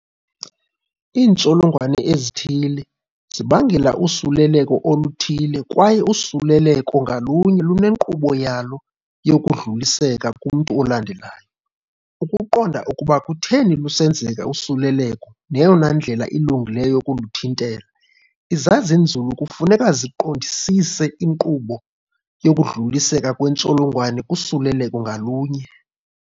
Iintsholongwane ezithile zibangela usuleleko oluthile kwaye usuleleko ngalunye lune nkqubo yalo yokudluliseka kumntu olandelayo. Ukuqonda ukuba kutheni lusenzeka usuleleko neyona ndlela ilungileyo yokuluthintela, izazinzulu kufuneka siqondisise inkqubo yokudluliseka kweentsholongwane kusuleleko ngalunye.